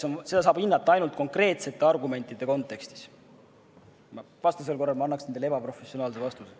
Seda saab hinnata ainult konkreetsete argumentide kontekstis, vastasel korral ma annaksin teile ebaprofessionaalse vastuse.